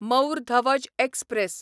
Mor Dhwaj express